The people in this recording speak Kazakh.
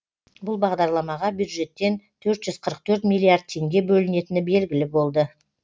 бұл бағдарламаға бюджеттен төрт жүз қырық төрт миллиард теңге бөлінетіні белгілі болды